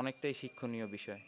অনেকটাই শিক্ষণীয় বিষয়।